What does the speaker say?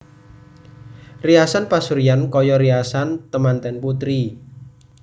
Riasan pasuryan kaya riasan temanten putri